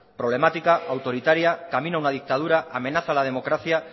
problemática autoritaria camino a una dictadura amenaza a la democracia